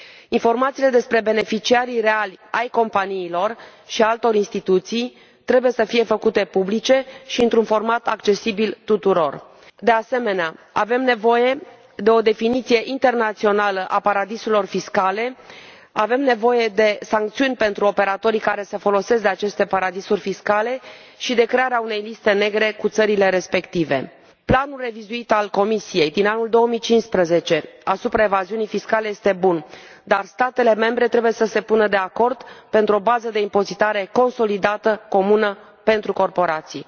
Informațiile despre beneficiarii reali ai companiilor și ai altor instituții trebuie să fie făcute publice și într un format accesibil tuturor. De asemenea, avem nevoie de o definiție internațională a paradisurilor fiscale. Avem nevoie de sancțiuni pentru operatorii care se folosesc de aceste paradisuri fiscale și de crearea unei liste negre cu țările respective. Planul revizuit al Comisiei, din anul 2015, asupra evaziunii fiscale este bun, dar statele membre trebuie să se pună de acord pentru o bază de impozitare consolidată, comună pentru corporații.